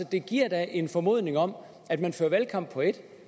det giver da en formodning om at man fører valgkamp på ét